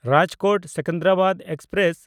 ᱨᱟᱡᱽᱠᱳᱴ–ᱥᱮᱠᱮᱱᱫᱨᱟᱵᱟᱫ express